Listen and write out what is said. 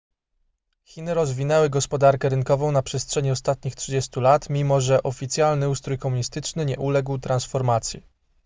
chiny rozwinęły gospodarkę rynkową na przestrzeni ostatnich 30 lat mimo że oficjalny ustrój komunistyczny nie uległ transformacji